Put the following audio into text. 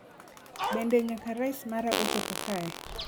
Bende nyaka rice mara ochopo kae?